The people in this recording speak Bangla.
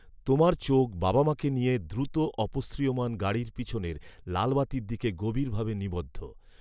তোমার চোখ বাবা মাকে নিয়ে দ্রুত অপসৃয়মান গাড়ির পিছনের লাল বাতির দিকে গভীর ভাবে নিবদ্ধ